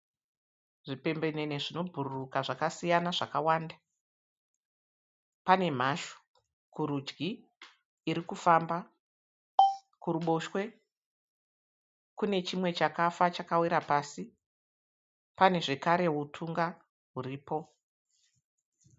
Zvipembenene zvinobhururuka zvakasiyana zvakawanda. Pane mhashu kurudyi iri kufamba. Kuruboshwe kune chimwe chakafa chakawira pasi. Pane zvekare utunga huripo.